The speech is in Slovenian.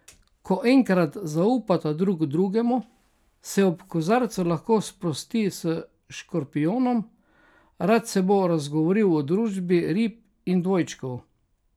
Ko enkrat zaupata drug drugemu, se ob kozarcu lahko sprosti s škorpijonom, rad se bo razgovoril v družbi rib in dvojčkov.